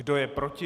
Kdo je proti?